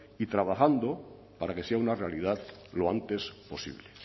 y trabajando para que sea una realidad lo antes posible